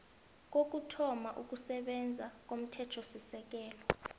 kokuthoma ukusebenza komthethosisekelo